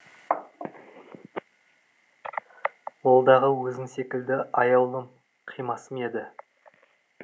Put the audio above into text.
ол дағы өзің секілді аяулым қимасым еді